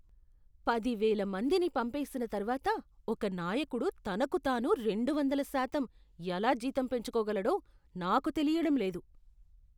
పదివేల మందిని పంపేసిన తర్వాత ఒక నాయకుడు తనకు తను రెండు వందల శాతం ఎలా జీతం పెంచుకోగలడో నాకు తెలియడం లేదు.